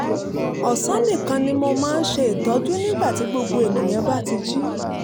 ọ̀sán nìkan ni mo máa ń ṣe ìtọ́jú nígbà tí gbogbo ènìyàn bá ti jí